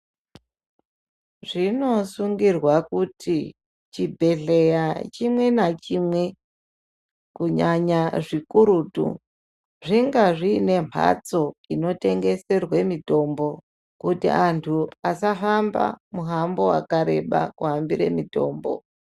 Zvinosungirwa kuti, chibhedhleya chimwe nachimwe, kunyanya zvikurutu, zvingazvinembatso inotengeserwe mitombo kuti antu asahamba muhambo wakareba, kuhambire mitombo.